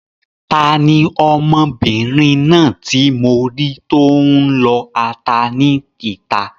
Tani ọmọbìnrin náà ti mọ rí tó n lọ ata ní ìta?